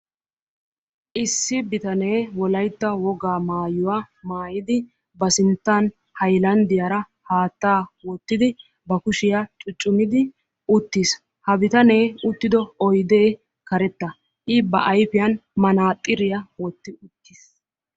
issi bitanee wolaytta wogaa mayuuwaa maayidi ba siinttan haylandiiyaara haattaa wootidi ba kuushiyaa cuucumiddi uuttiis. ha biitanee uuttido oydee karetta. i ba ayfiyaan manaaxiriyaa woottidi uuttiis.